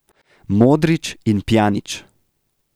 Modrić in Pjanić.